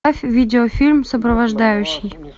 поставь видеофильм сопровождающий